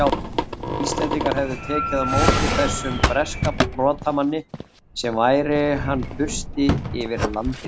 Íslendingar hefðu tekið á móti þessum breska brotamanni sem væri hann fursti yfir landinu!